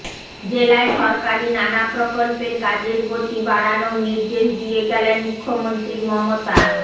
জেলায় সরকারি নানা প্রকল্পের কাজের গতি বাড়নোর নির্দেশ দিয়ে গেলেন মুখ্যমন্ত্রী মমতা